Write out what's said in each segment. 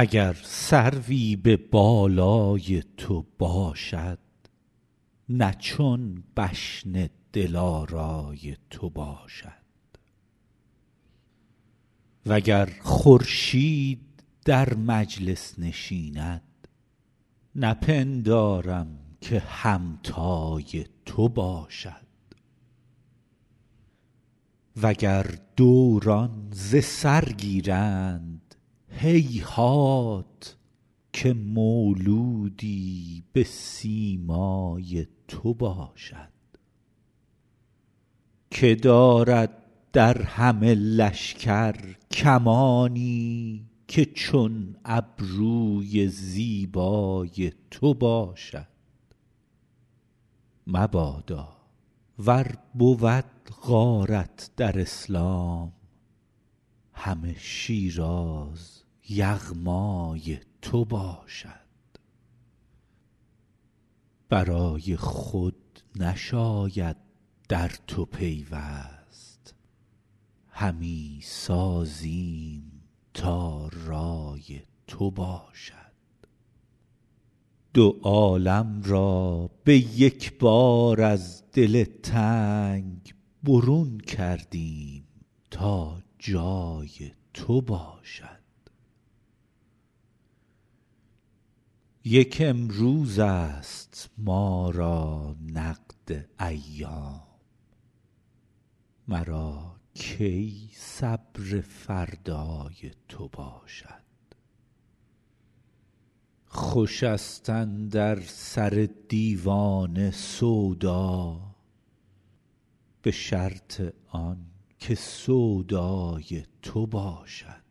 اگر سروی به بالای تو باشد نه چون بشن دلارای تو باشد و گر خورشید در مجلس نشیند نپندارم که همتای تو باشد و گر دوران ز سر گیرند هیهات که مولودی به سیمای تو باشد که دارد در همه لشکر کمانی که چون ابروی زیبای تو باشد مبادا ور بود غارت در اسلام همه شیراز یغمای تو باشد به رای خود نشاید در تو پیوست همی سازیم تا رای تو باشد دو عالم را به یک بار از دل تنگ برون کردیم تا جای تو باشد یک امروزست ما را نقد ایام مرا کی صبر فردای تو باشد خوشست اندر سر دیوانه سودا به شرط آن که سودای تو باشد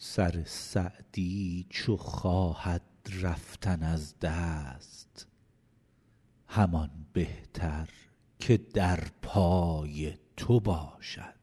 سر سعدی چو خواهد رفتن از دست همان بهتر که در پای تو باشد